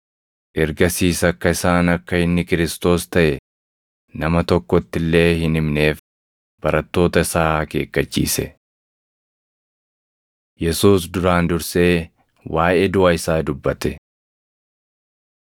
Ergasiis akka isaan akka inni Kiristoos taʼe nama tokkotti illee hin himneef barattoota isaa akeekkachiise. Yesuus Duraan Dursee Waaʼee Duʼa Isaa Dubbate 16:21‑28 kwf – Mar 8:31–9:1; Luq 9:22‑27